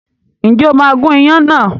Ǹjẹ́ o máa gun ìyàn náà?